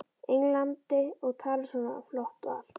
Englandi og talar svona flott og allt.